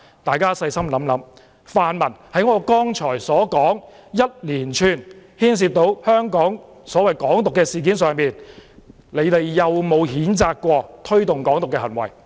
大家細心想想，在我剛才所說一連串牽涉"港獨"的事件上，泛民有否譴責推動"港獨"的行為？